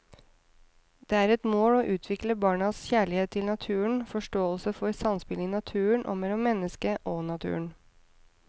Det er et mål å utvikle barnas kjærlighet til naturen, forståelse for samspillet i naturen og mellom mennesket og naturen.